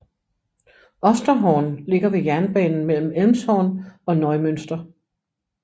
Osterhorn ligger ved jernbanen mellem Elmshorn og Neumünster